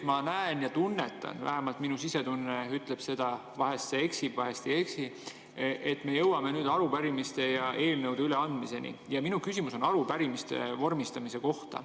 Ma näen ja tunnetan, vähemalt minu sisetunne ütleb seda – vahest see eksib, vahest ei eksi –, et me jõuame nüüd arupärimiste ja eelnõude üleandmiseni, ja minu küsimus on arupärimiste vormistamise kohta.